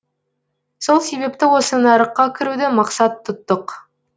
сол себепті осы нарыққа кіруді мақсат тұттық